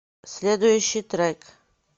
следующий трек